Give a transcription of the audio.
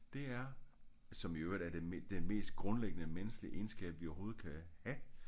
Det er som i øvrigt er det den mest grundlæggende menneskelige egenskab vi overhovedet kan have